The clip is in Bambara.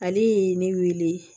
Ale ye ne wele